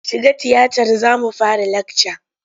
Shiga tiyatar za mu fara lakca!